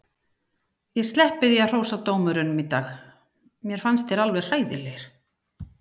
Ég sleppi því að hrósa dómurunum í dag, mér fannst þeir vera alveg hræðilegir.